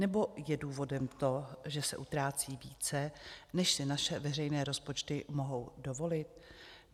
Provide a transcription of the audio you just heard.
Nebo je důvodem to, že se utrácí více, než si naše veřejné rozpočty mohou dovolit?